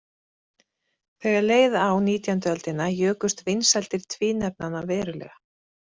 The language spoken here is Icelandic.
Þegar leið á og nítjánda öldina jukust vinsældir tvínefnanna verulega.